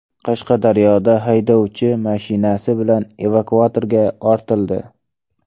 Qashqadaryoda haydovchi mashinasi bilan evakuatorga ortildi .